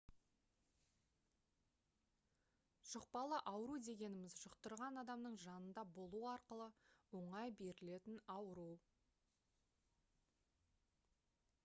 жұқпалы ауру дегеніміз жұқтырған адамның жанында болу арқылы оңай берілетін ауру